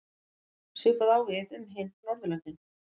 Svipað á við um hin Norðurlöndin.